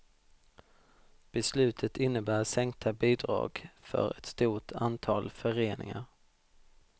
Beslutet innebär sänkta bidrag för ett stort antal föreningar.